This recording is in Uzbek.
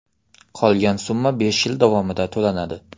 Qolgan summa besh yil davomida to‘lanadi.